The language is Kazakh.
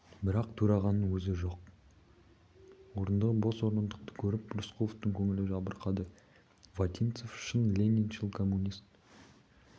бірақ төрағаның өзі жоқ орындығы бос бос орындықты көріп рысқұловтың көңілі жабырқады вотинцев шын лениншіл коммунист